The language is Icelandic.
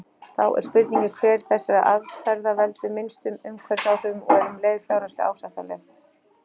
Þá er spurningin hver þessara aðferða veldur minnstum umhverfisáhrifum og er um leið fjárhagslega ásættanleg.